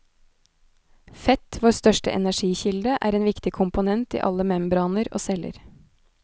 Fett, vår største energikilde, er en viktig komponent i alle membraner og celler.